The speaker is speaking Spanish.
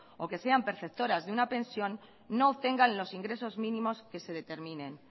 o que sean perceptoras de una pensión no obtengan los ingresos mínimos que se determinen